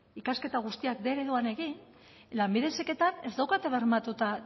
ikasketa guztiak bostehun ereduan egin lanbide heziketan ez daukate bermatuta